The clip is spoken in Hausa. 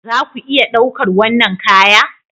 Za ku iya ɗaukar wannan kaya